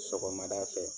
Sɔgɔmada fɛ